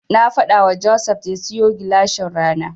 Na faɗawa Joseph ya siyo gilashin rana.